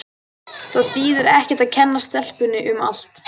Það þýðir ekkert að kenna stelpunni um allt.